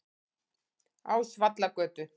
Ásvallagötu